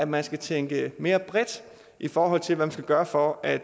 man skal tænke mere bredt i forhold til hvad man skal gøre for at